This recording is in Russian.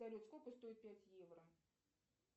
салют сколько стоит пять евро